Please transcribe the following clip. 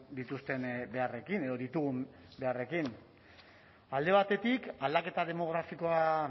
dituzten beharrekin edo ditugun beharrekin alde batetik aldaketa demografikoa